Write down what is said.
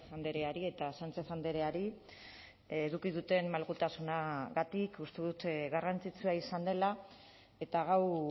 andreari eta sánchez andreari eduki duten malgutasunagatik uste dut garrantzitsua izan dela eta gaur